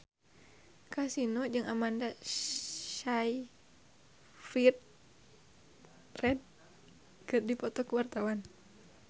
Kasino jeung Amanda Sayfried keur dipoto ku wartawan